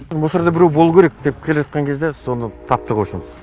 мусорда біреу болуы керек деп келе жатқан кезде соны таптық вообщем